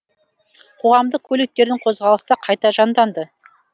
қоғамдық көліктердің қозғалысы да қайта жанданды